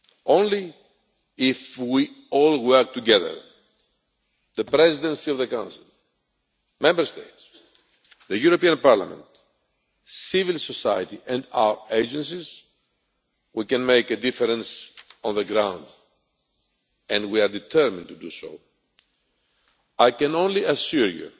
Only if we all work together the Presidency of the Council, Member States, the European Parliament, civil society and our agencies can we make a difference on the ground, and we are determined to do so. I can only assure you